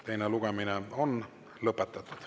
Teine lugemine on lõpetatud.